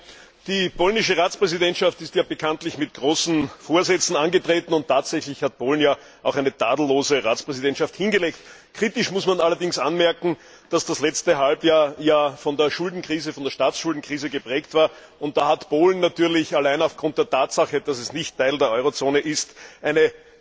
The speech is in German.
Herr Präsident! Die polnische Ratspräsidentschaft ist bekanntlich mit großen Vorsätzen angetreten, und tatsächlich hat Polen ja auch eine tadellose Ratspräsidentschaft hingelegt. Kritisch muss man allerdings anmerken, dass das letzte Halbjahr von der Staatsschuldenkrise geprägt war, und da hat Polen natürlich allein aufgrund der Tatsache, dass es nicht Teil der Eurozone ist, eine